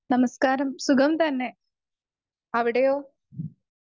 Speaker 2 നമസ്‍കാരം സുഖം തന്നെ. അവിടെയോ ?